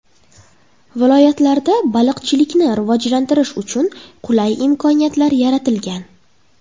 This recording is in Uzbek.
Viloyatda baliqchilikni rivojlantirish uchun qulay imkoniyatlar yaratilgan.